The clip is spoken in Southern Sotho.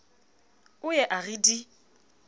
o ye a re di